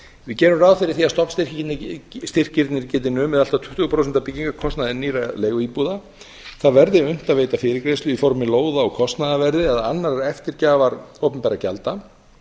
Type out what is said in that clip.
við gerum ráð fyrir því að stofnstyrkirnir geti numið allt að tuttugu prósent af byggingarkostnaði nýrra leiguíbúða það verði unnt að veita fyrirgreiðslu í formi lóða á kostnaðarverði eða annarrar eftirgjafar opinberra gjalda